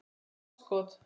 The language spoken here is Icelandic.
Gott skot.